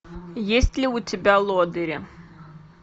есть ли у тебя лодыри